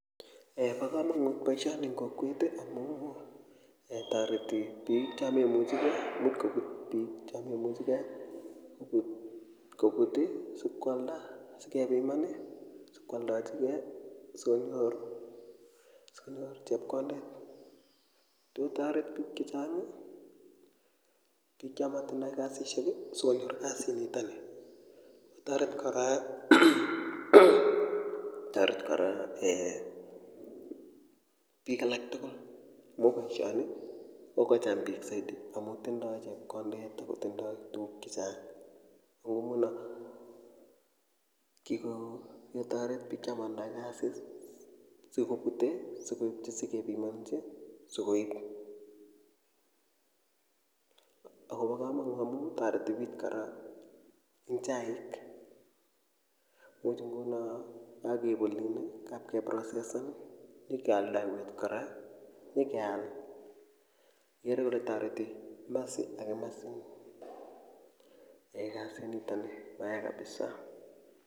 Bo komanut boiioni eng kokwet amu toreti biik cho memuchi kei imuch kobut biik chememuchi kei kobut kobut[i] sikwalda kepiman sikwaldojigei sikonyor chepkondet atya kotoret bik chechang bik chematinye kasisiek sikonyor kasinitoni kotoret kora eeh biik alak tugul amu boisioni kokocham biik zaidi amu tindoi chepkondet akotindoi tuguk chechang nguno kikotoret bik chomatindoi kasi sikopute sikepimanjin sikoib akobo kamanut amu toreti biik kora eng chaik imuch nguno kakeib olin kapkeprocessannyikeoldoiwech kora keal ikere kole toreti kimasi ak kimasin eeh kasinitoni mayaa kabisaa